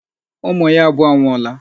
Ụmụ ya abụọ anwụọla.